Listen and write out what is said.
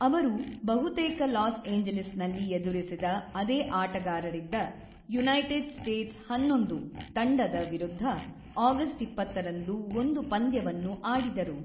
ಅವರು ಬಹುತೇಕ ಲಾಸ್ ಏಂಜಲೀಸ್‌ನಲ್ಲಿ ಎದುರಿಸಿದ ಅದೇ ಆಟಗಾರರಿದ್ದ ಯುನೈಟೆಡ್ ಸ್ಟೇಟ್ಸ್ ೧೧ ತಂಡದ ವಿರುದ್ಧ ಆಗಸ್ಟ್ ೨೦ರಂದು ಒಂದು ಪಂದ್ಯವನ್ನು ಆಡಿದರು.